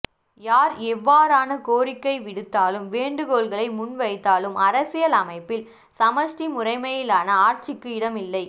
யார் எவ்வாறான கோரிக்கை விடுத்தாலும் வேண்டுகோள்களை முன்வைத்தாலும் அரசியல் அமைப்பில் சமஸ்டி முறைமையிலான ஆட்சிக்கு இடமில்லை